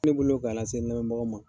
Ne bolo ka lase n lamɛnbagaw ma.